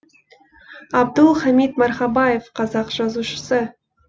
абдул хамид мархабаев қазақ жазушысы